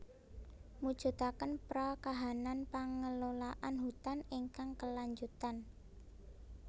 Mujudaken pra kahanan pangelolaan hutan ingkang kelanjutan